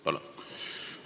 Palun!